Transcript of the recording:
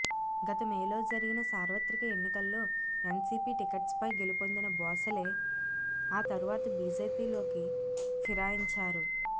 గత మేలో జరిగిన సార్వత్రిక ఎన్నికల్లో ఎన్సిపి టికెట్పై గెలుపొందిన భోసలే ఆ తర్వాత బిజెపిలోకి ఫిరాయించారు